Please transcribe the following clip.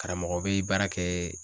Karamɔgɔ bɛ baara kɛ